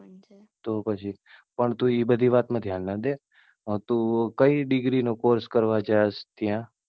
તો પછી. પણ તું એ બધી વાત માં ધ્યાન ના દે. તું કઈ Degree નો Course કરવા જાશ ત્યાં?